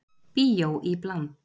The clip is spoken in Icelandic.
Bíó í bland